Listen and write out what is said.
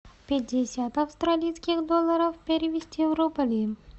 пятьдесят австралийских долларов перевести в рубли